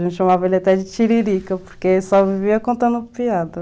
A gente chamava ele até de tiririca, porque só vivia contando piada.